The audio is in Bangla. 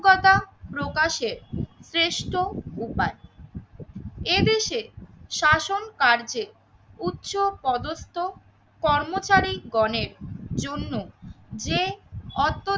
জ্ঞতা প্রকাশে শ্রেষ্ঠ উপায়। এদেশে শাসন কার্যে উচ্চ পদস্থ কর্মচারী গণের জন্য যে অত্যধিক